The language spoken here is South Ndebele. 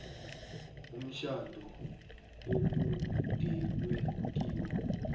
umtjhado okungenwe kiwo